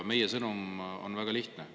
Meie sõnum on väga lihtne.